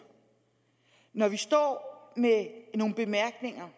når vi står med nogle bemærkninger